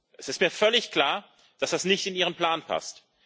Es ist mir völlig klar, dass das nicht in Ihren Plan passt.